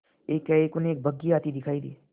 एकाएक उन्हें एक बग्घी आती दिखायी दी